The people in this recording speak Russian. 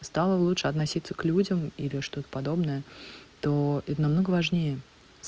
стало лучше относиться к людям или что-то подобное то их намного важнее